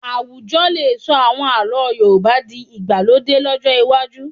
Àwùjọ lè sọ àwọn àlọ́ Yorùbá di ti ìgbàlódé lọ́jọ́ iwájú